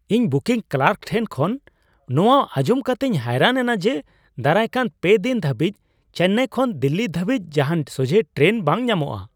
ᱤᱧ ᱵᱩᱠᱤᱝ ᱠᱟᱨᱠ ᱴᱷᱮᱱ ᱠᱷᱚᱱ ᱢᱚᱣᱟ ᱟᱸᱡᱚᱢ ᱠᱟᱛᱮᱧ ᱦᱚᱭᱨᱟᱱ ᱮᱱᱟ ᱡᱮ, ᱫᱟᱨᱟᱭᱠᱟᱱ ᱯᱮ ᱫᱤᱱ ᱦᱟᱹᱵᱤᱡ ᱪᱮᱱᱱᱟᱭ ᱠᱷᱚᱱ ᱫᱤᱞᱞᱤ ᱫᱷᱟᱹᱵᱤᱡ ᱡᱟᱦᱟᱱ ᱥᱚᱡᱷᱮ ᱴᱨᱮᱱ ᱵᱟᱝ ᱧᱟᱢᱚᱜᱼᱟ ᱾